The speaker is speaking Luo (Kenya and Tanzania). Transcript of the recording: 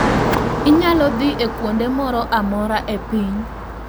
Inyalo dhi e kuonde moro amora e piny